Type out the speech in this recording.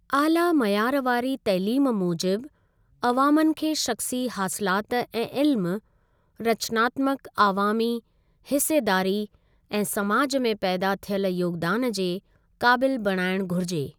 आला मयार वारी तइलीम मूजिबि अवामनि खे शख़्सी हासिलाति ऐं इल्म, रचनात्मक अवामी हिसेदारी ऐं समाज में पैदा थियल योगदान जे काबिल बणाइणु घुरिजे।